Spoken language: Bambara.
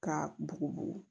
Ka bugubugu